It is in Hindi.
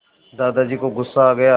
दादाजी को गुस्सा आ गया